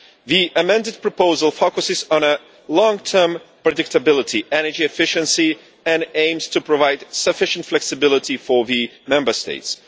The amended proposal focuses on long-term predictability and energy efficiency, and aims to provide sufficient flexibility for the Member States.